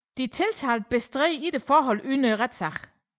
De tiltalte bestred ikke forholdet under retssagen